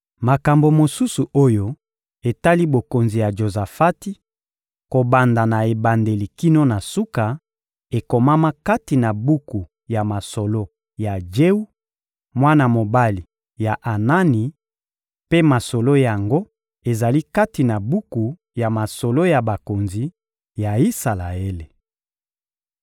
Makambo mosusu oyo etali bokonzi ya Jozafati, kobanda na ebandeli kino na suka, ekomama kati na buku ya masolo ya Jewu, mwana mobali ya Anani; mpe masolo yango ezali kati na buku ya masolo ya bakonzi ya Isalaele.